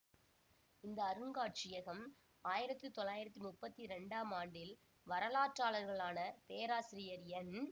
இந்த அருங்காட்சியகம் ஆயிரத்தி தொள்ளாயிரத்தி முப்பத்தி இரண்டாம் ஆண்டில் வரலாற்றாளர்களான பேராசிரியர் என்